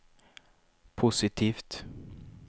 positivt